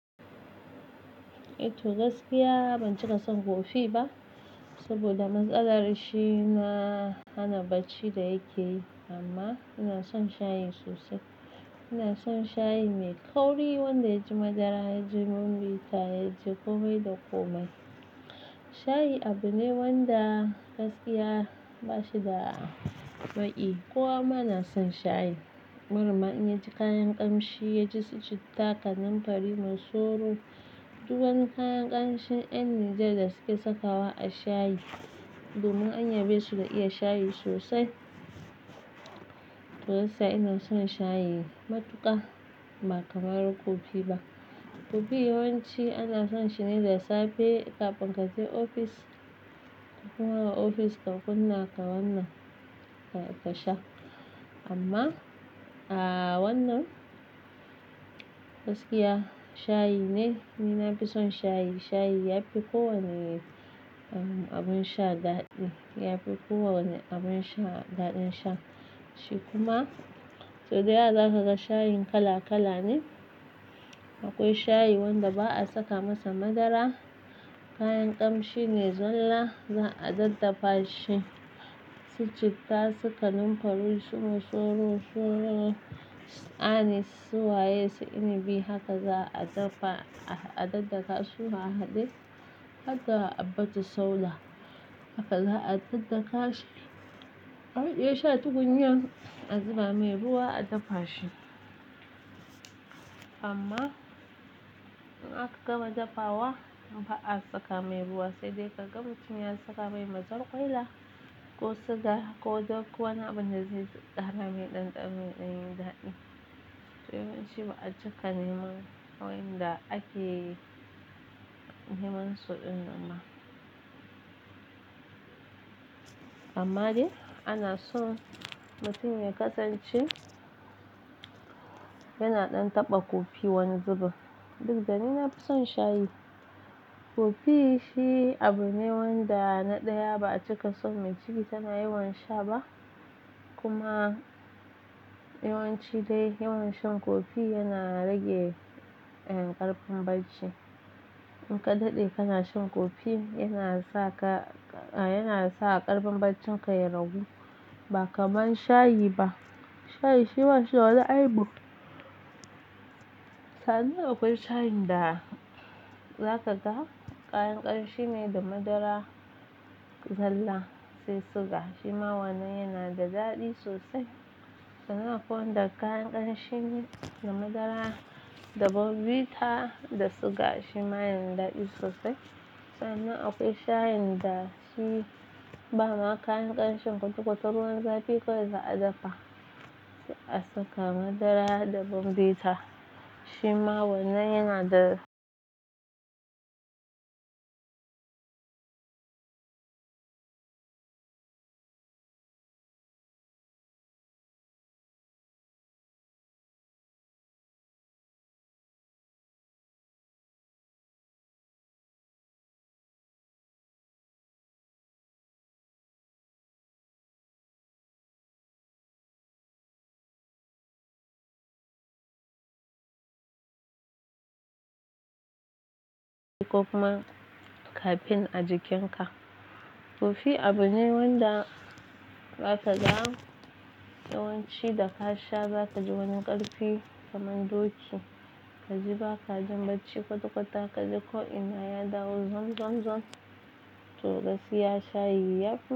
I, to gaskiya ban cika son kofi ba saboda matsalar shi na hana bacci da yake yi amma ina son shayi sosai. Ina son shayi mai kauri wanda ya ji madara, ya ji bombita, ya ji komai da komai. Shayi abu ne wanda gaskiya ba shi da maƙiyi. Kowa ma na son shayi. Barinma in ya ji kayan ƙamshi, ya ji su citta, kanumfari, masoro, dukwani kayan ƙamshin ƴan Nijar da suke saka wa a shayi. Domin anya besu da iya shayi sosai. To gaskiya ina son shayi matuƙa ba kamar kofi ba. Kofi yawanci ana son shi ne da safe ka finga je ofis, ka koma ofis ka kunna ka wannan ka sha amma a wannan gaskiya shayi ne, ni na fi son shayi. Shayi ya fi kowane abun sha daɗi, ya fi kowane abun sha daɗin sha shi kuma sau da yawa za ka ga shayin kala kala ne. Akwai shayi wanda ba a saka masa madara, kayan ƙamshi ne zalla za a dattafa shi, su citta, su kanumfari, su masoro, su anisi, su waye, su inibi haka za a daffa, a daddaka su ka haɗe hadda habba tu sauda. Haka za a daddaka shi. A wajen sha tukunya a zuba mai ruwa a daffa shi amma in aka gama dafawa ba a saka mai ruwa sai dai ka gamu tum ya saka mai mazarkwaila ko suga ko duk wani abin da zai ƙara mai ɗanɗano daɗi. Yawanci ba a cika neman wa'yanda ake neman su ɗin amma amma dai ana son mutum ya kasance yana ɗan taɓa kofi wani zubin. Duk da ni na fi son shayi. Kofi shi abu ne wanda na ɗaya ba a cika son jiki tana yawan sha ba kuma yawanci dai yawan shan kofi yana rage ƙarfin bacci. In ka daɗe kana shan kofi yana sa ka, yana sa ƙarfin baccin ka ya ragu ba kamar shayi ba. Shayi shi ba shi wani aibu. Kani akwai shayin da za ka ga kayan ƙamshi ne da madara, zalla sai suga shi ma wannan yana da daɗi sosai. Sannan akwai wanda kayan ƙamshi ne da madara da bombita da suga shi ma yana daɗi sosai. Sannan akwai shayin da shi ba maka kayan ƙamshi kwata kwata ruwan zaɓi kawai za a daffa sai a saka madara da bombita shi ma wannan yana da kuma kafen a jikin ka. Kofi abu ne wanda za ka ga yawanci da ka sha za ka ji wani ƙarfi kamar doki. Ka ji ba ka jin bacci kwata kwata ka ji ko ina ya dawo zam, zam, zam. To gaskiya shayi ya fi.